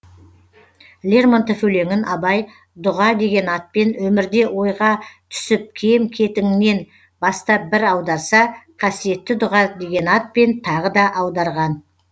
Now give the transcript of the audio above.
лермонтов өлеңін абай дұға деген атпен өмірде ойға түсіп кем кетігіңнен бастап бір аударса қасиетті дұға деген атпен тағы да аударған